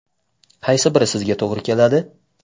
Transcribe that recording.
Qaysi biri sizga to‘g‘ri keladi?